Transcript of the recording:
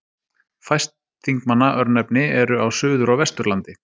Fæst Þingmanna-örnefni eru á Suður- og Vesturlandi.